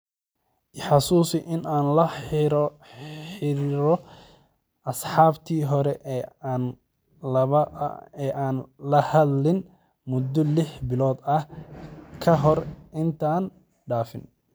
I xasuusi in aan la xiriiro asxaabtii hore ee aanan la hadlin muddo lix bilood ah ka hor intaanan dhaafin